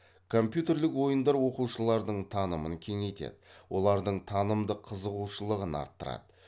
компьютерлік ойындар оқушылардың танымын кеңейтеді олардың танымдык кызығушылығын арттырады